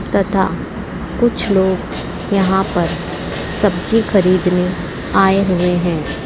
तथा कुछ लोग यहां पर सब्जी खरीदने आए हुए हैं।